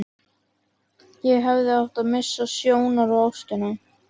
Ég hefði átt að missa sjónar á ástinni.